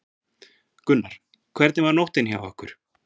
Gunnar: Hvernig var nóttin hjá ykkur?